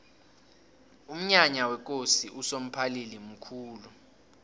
umnyanya wekosi usomphalili mkhulu